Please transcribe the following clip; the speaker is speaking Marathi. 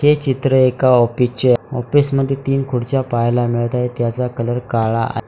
हे चित्र एका ऑफिसचे ऑफिसमध्ये तीन खुर्च्या पाहायला मिळत आहे त्याचा कलर काळा आ--